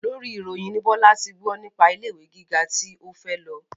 Lórí ìròyìn ni Bọ́lá ti gbọ́ nípa ilé ìwé gíga tí ó fẹ́ lọ